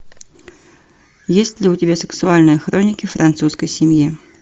есть ли у тебя сексуальные хроники французской семьи